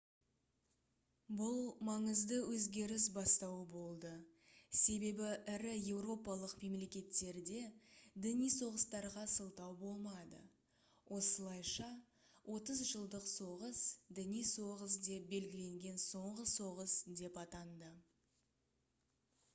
бұл маңызды өзгеріс бастауы болды себебі ірі еуропалық мемлекеттерде діни соғыстарға сылтау болмады осылайша отыз жылдық соғыс діни соғыс деп белгіленген соңғы соғыс деп атанды